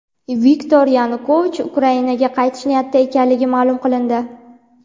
Viktor Yanukovich Ukrainaga qaytish niyatida ekanligi ma’lum qilindi.